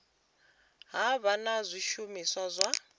ha vha na zwishumiswa zwa